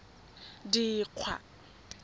dikgwa